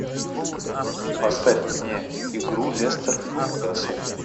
поставь мне игру лестер ньюкасл